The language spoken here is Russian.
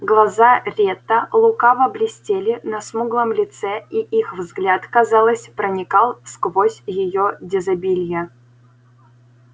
глаза ретта лукаво блестели на смуглом лице и их взгляд казалось проникал сквозь её дезабилье